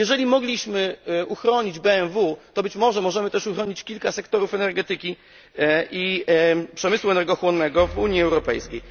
Jeżeli mogliśmy uchronić BMW, to być może potrafimy też uchronić kilka sektorów energetyki i przemysłu energochłonnego w Unii Europejskiej.